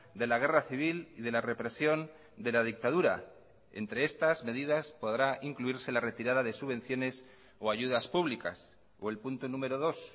de la guerra civil y de la represión de la dictadura entre estas medidas podrá incluirse la retirada de subvenciones o ayudas públicas o el punto número dos